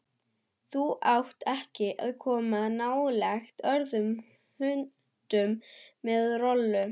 Þú átt ekki að koma nálægt öðrum hundum en Rolu.